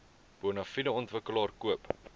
bonafide ontwikkelaar koop